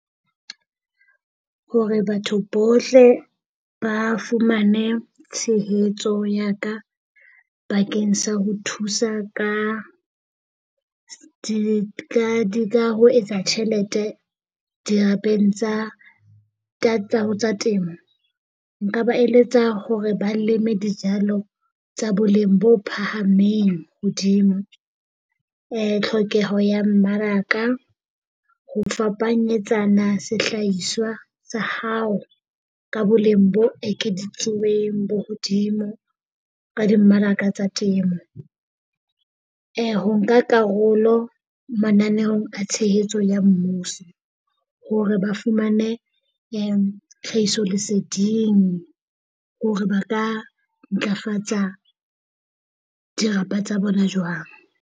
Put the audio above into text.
Hore batho bohle ba fumane tshehetso ya ka bakeng sa ho thusa ka ho etsa tjhelete di tsa temo, nka ba eletsa hore ba leme dijalo tsa boleng bo phahameng hodimo. Tlhokeho ya mmaraka, ho fapanyetsana sehlahiswa sa hao ka boleng bo ekeditsweng bo hodimo ka dimmaraka tsa temo. Ho nka karolo mananeong a tshehetso ya mmuso, hore ba fumane tlhahisoleseding hore ba ka ntlafatsa dirapa tsa bona jwang.